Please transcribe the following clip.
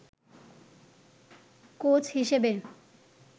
coach হিসেবে